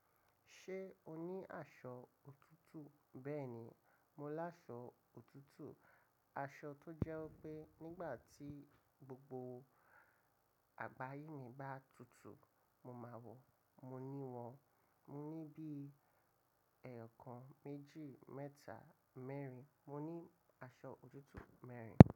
Ṣé o ní aṣọ òtútù? Bẹ́ẹ̀ni, mo láṣọ òtútù, aṣọ tó jẹ́ wipe. Nígbà tí gbogbo àgbáyé mi bá tutù, mo máa wọ̀, mo ní wọn. Mo ní bí i ẹẹkan, méjì, mẹ́ta, mẹ́rin. Mo ní aṣọ òtútù mẹ́rin.